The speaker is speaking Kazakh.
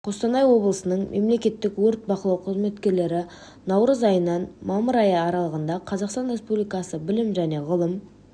қостанай облысының мемлекеттік өрт бақылау қызметкерлері наурыз айынан мамыр айы аралығында қазақстан республикасы білім және ғылым